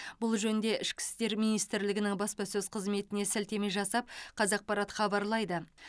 бұл жөнінде ішкі істер министрлігінің баспасөз қызметіне сілтеме жасап қазақпарат хабарлайды